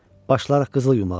Başlayarıq qızıl yumağa.